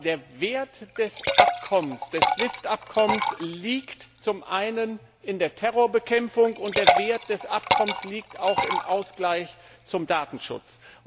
Der Wert des SWIFT Abkommens liegt zum einen in der Terrorbekämpfung, und der Wert des Abkommens liegt auch im Ausgleich zum Datenschutz.